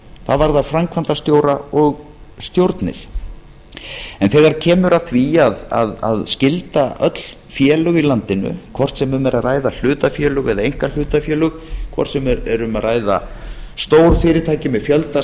það varðar framkvæmdastjóra og stjórnir en þegar kemur að því að skylda öll félög í landinu hvort sem um er að ræða hlutafélög eða einkahlutafélög hvort sem er um að ræða stór fyrirtæki með fjölda